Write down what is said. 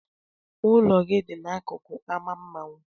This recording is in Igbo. Ụlọ gị a dị n'akụkụ ámá mmanwụ.